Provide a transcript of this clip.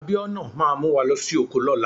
Abiona máa mu wa losi oko lóla